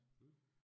Mh